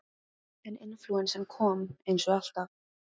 En inflúensan kom, eins og alltaf.